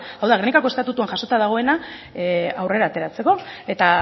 hau da gernikako estatutuan jasota dagoena aurrera ateratzeko eta